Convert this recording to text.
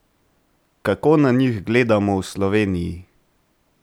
Kako na njih gledamo v Sloveniji?